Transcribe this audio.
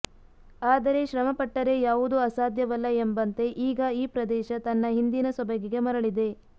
ಆದರೆ ಶ್ರಮ ಪಟ್ಟರೆ ಯಾವುದು ಅಸಾಧ್ಯವಲ್ಲ ಎಂಬಂತೆ ಈಗ ಈ ಪ್ರದೇಶ ತನ್ನ ಹಿಂದಿನ ಸೊಬಗಿಗೆ ಮರಳಿದೆ